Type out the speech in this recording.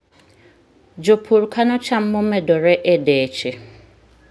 Jopur kano cham momedore e deche.